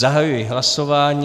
Zahajuji hlasování.